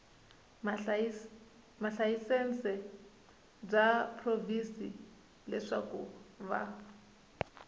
malayisense bya provhinsi leswaku va